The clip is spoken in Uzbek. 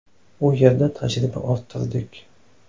U yerda tajriba orttirdik.